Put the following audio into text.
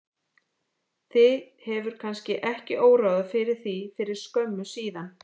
Þig hefur kannski ekki órað fyrir því fyrir skömmu síðan?